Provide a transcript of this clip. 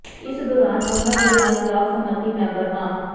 ਇਸ ਦੌਰਾਨ ਉਨ੍ਹਾਂ ਦੇ ਨਾਲ ਬਲਾਕ ਸਮੰਤੀ ਮੈਂਬਰ ਮਾ